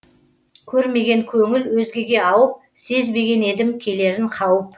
көрмеген көңіл өзгеге ауып сезбеген едім келерін қауіп